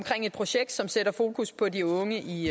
et projekt som sætter fokus på de unge i